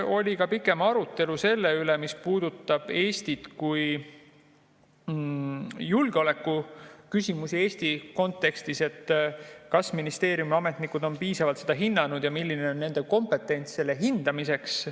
Oli ka pikem arutelu selle üle, mis puudutab julgeolekuküsimusi Eesti kontekstis, et kas ministeeriumi ametnikud on piisavalt seda hinnanud ja milline on nende kompetents selle hindamiseks.